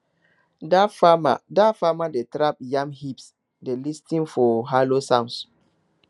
dat farmer dat farmer dey tap yam heaps dey lis ten for hollow sounds